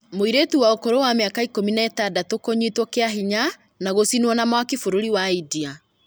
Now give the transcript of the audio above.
Mũirĩtu wa ũkũrũ wa mĩaka ikũmi na ĩtandatũ kũnyitwo kĩa hinya, na gũcinwo na mwaki bũrũri-inĩ wa India